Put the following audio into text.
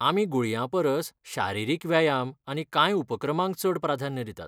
आमी गुळयां परस शारिरीक व्यायाम आनी कांय उपक्रमांक चड प्राधान्य दितात.